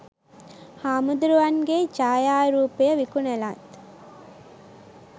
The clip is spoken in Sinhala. හාමුදුරුවන්ගේ ඡායාරූපය විකුණලත්